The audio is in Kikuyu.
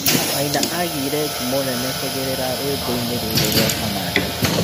Maina agĩ ire ngumo nene kũgerera rwĩ mboinĩ rũrũ rwa Kamande.